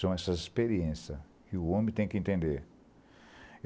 São essas experiências que o homem tem que entender.